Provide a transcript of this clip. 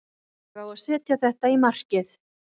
Ég á að setja þetta í markið.